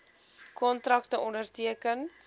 kontrakte onderteken